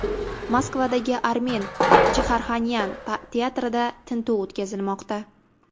Moskvadagi Armen Jigarxanyan teatrida tintuv o‘tkazilmoqda.